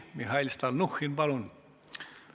Mihhail Stalnuhhin, palun!